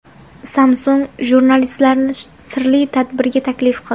Samsung jurnalistlarni sirli tadbirga taklif qildi.